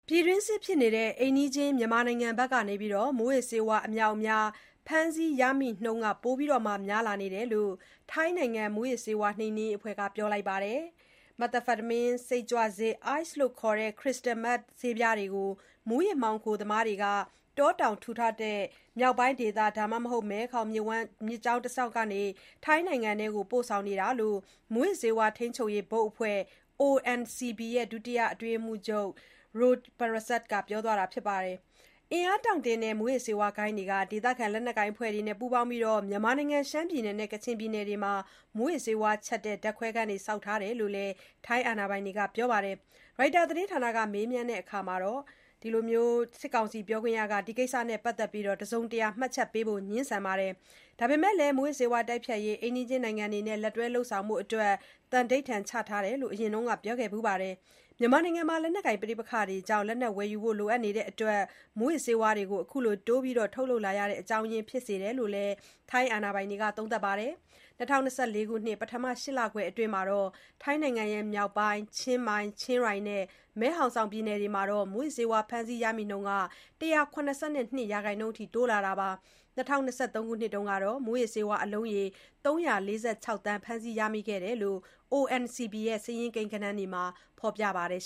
ပြည်တွင်းစစ်ဖြစ်နေတဲ့ အိမ်နီးချင်း မြန်မာနိုင်ငံဘက်ကနေ မူးယစ်ဆေးဝါး အမြောက်အများ ဖမ်းဆီးရမိနှုန်း ပိုများလာတယ်လို့ ထိုင်းနိုင်ငံမူးယစ်ဆေးဝါးနှိမ်နင်းရေးအဖွဲ့က ပြောလိုက်ပါတယ်။ Methamphetamine စိတ်ကြွဆေးနဲ့ Ice လို့လည်း သိကြတဲ့ Crystal Meth ဆေးပြားတွေကို မူးယစ်မှောင်ခိုသမားတွေက တောတောင်ထူထပ်တဲ့ မြောက်ပိုင်းဒေသ ဒါမှမဟုတ် မဲခေါင် မြစ်ကြောင်းနေတဆင့် ထိုင်းနိုင်ငံအတွင်းကို ပို့ဆောင်နေတာလို့ မူးယစ်ဆေးဝါးထိန်းချုပ်ရေး ဘုတ်အဖွဲ့ ONCB ဒုတိယ အတွင်းရေးမှူးချုပ် Apikit Ch. Rojprasert က ပြောပါတယ်။ အင်အားတောင့်တင်းတဲ့ မူးယစ်ဆေးဝါးဂိုဏ်းတွေဟာ ဒေသခံ လက်နက်ကိုင်အဖွဲ့တွေနဲ့ ပူးပေါင်းပြီး မြန်မာနိုင်ငံ ရှမ်းပြည်နယ်နဲ့ ကချင်ပြည်နယ်တွေမှာ မူးယစ်ဆေးဝါးချက်တဲ့ ဓါတ်ခွဲခန်းတွေ ဆောက်ထားကြတယ်လို့လည်း ထိုင်းအာဏာပိုင်တွေက ပြောပါတယ်။ ရိုက်တာသတင်းဌာနက မေးမြန်းရာမှာ စစ်ကောင်စီပြောခွင့်ရကတော့ ဒီကိစ္စနဲ့ ပတ်သတ်ပြီး တစုံတရာ မှတ်ချက် ပေးဖို့ ငြင်းဆိုပါတယ်။ ဒါပေမယ့်လည်း မူးယစ်ဆေးဝါးတိုက်ဖျက်ရေး အိမ်နီးချင်းနိုင်ငံတွေနဲ့ လက်တွဲဆောင်ရွက်ဖို့ သံဓိဌာန်ချထားတယ်လို့ အရင်က ပြောခဲ့ဘူးပါတယ်။ မြန်မာနိုင်ငံမှာ လက်နက်ကိုင် ပဋိပက္ခတွေကြောင့် လက်နက်ဝယ်ယူဖို့လိုအပ်တာဟာ မူးယစ်ဆေးဝါးတိုးပြီး ထုတ်လုပ်လာရတဲ့ အကြောင်းရင်း ဖြစ်တယ်လို့လည်း ထိုင်းအာဏာပိုင်တွေက သုံးသပ်ပါတယ်။ ၂၀၂၄ ခုနှစ် ပထမ ၈ လခွဲအတွင်း ထိုင်းနိုင်ငံ မြောက်ပိုင်း ချင်းမိုင်၊ ချင်းရိုင်နဲ့ မဲ့ဟောင်ဆောင် ပြည်နယ်တွေမှာ မူးယစ်ဆေးဝါး ဖမ်းဆီးရမိနှုန်း ၁၇၂ ရာခိုင်နှုန်းတိုးလာတာပါ။ ၂၀၂၃ ခုနှစ်တုန်းကတော့ မူယစ်ဆေးဝါးအလုံးရေ ၃၄၆ သန်း ဖမ်းဆီးရမိခဲ့တယ်လို့ ONCB စာရင်းကိန်းဂဏန်းတွေမှာ ဖော်ပြထားပါတယ်